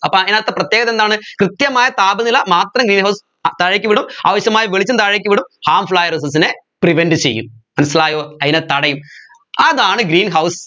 അപ്പോ അതിനകത്തെ പ്രത്യേകത എന്താണ് കൃത്യമായ താപനില മാത്രം താഴേക്കു വിടും ആവശ്യമായ വെളിച്ചം താഴേക്ക് വിടും harmful ആയ rays നെ prevent ചെയ്യും മനസ്സിലായോ അതിനെ തടയും അതാണ് greenhouse